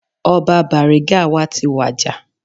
Ọba Bariga wa ti wàjà